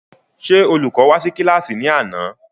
Ṣé Olùkọ́ wá sí kílàsì ní àná?